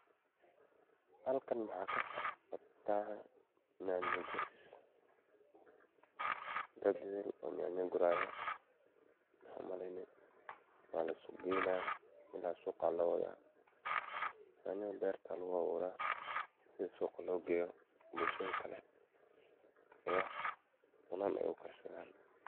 Halkan mxa kasocdah, nyanya Guuris, dad etheel oo nyanya Guurayayo waxan u maleeyni walaisku geeynayo Ina suuga lo wathoh nyanthan beerta Aya lagu abuuraah sethi suqa loo geeyoh bulshada Kali ee cunan ee u karsathan.